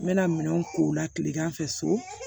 N bɛna minɛnw ko la tilegan fɛ so